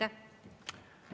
Aeg!